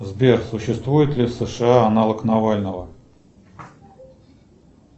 сбер существует ли в сша аналог навального